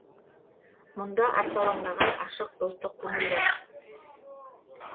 мұнда арсалаңдаған ашық достық көңіл бар